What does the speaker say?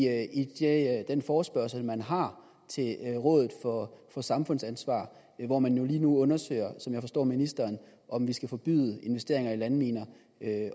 den forespørgsel man har til rådet for for samfundsansvar hvor man jo lige nu undersøger som jeg forstår ministeren om vi skal forbyde investeringer i landminer